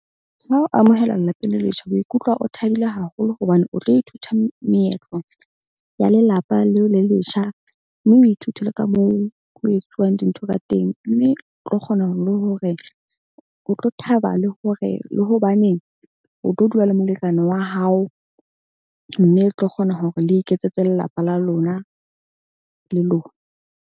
Ha o amohelwa lelapeng le letjha, o ikutlwa o thabile haholo hobane o tlo ithuta meetlo ya lelapa leo le letjha. Mme o ithute le ka moo ho etsuwang dintho ka teng. Mme o tlo kgona ho le hore o tlo thaba le hore le hobane o tlo dula le molekane wa hao. Mme le tlo kgona hore le iketsetse lelapa la lona le lona.